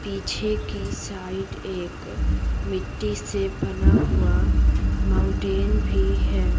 पीछे की साइड एक मिट्टी से बना हुआ माउंटेन भी है।